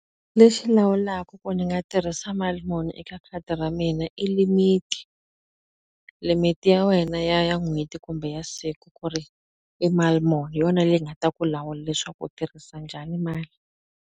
Lexi lawulaka ku ndzi nga tirhisa mali muni eka khadi ra mina i limit-i. Limit-i ya wena ya ya n'hweti kumbe ya siku ku ri i mali muni, hi yona leyi nga ta ku lawula leswaku u tirhisa njhani mali.